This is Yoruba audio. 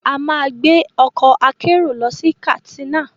A máa gbé ọkọ̀ akérò lọ sí Katsina